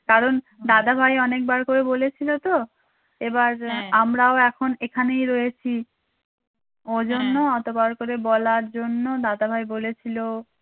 কারণ দাদাভাই অনেকবার করে বলেছিলো তো এবার আমরাও এখন এখানেই রয়েছি ওজন্য অতবার করে বলার জন্য দাদাভাই বলেছিলো